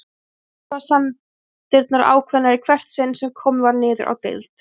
Og athugasemdirnar ákveðnari í hvert sinn sem komið var niður á deild.